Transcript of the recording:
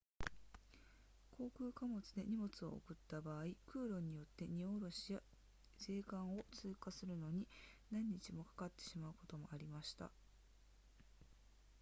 航空貨物で荷物を送った場合空路によって荷降ろしや税関を通過するのに何日もかかってしまうこともありました